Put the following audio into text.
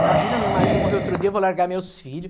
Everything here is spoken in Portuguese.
Imagina, meu marido morreu outro dia, eu vou largar meus filho.